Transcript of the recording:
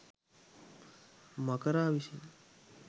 මකරා විසින්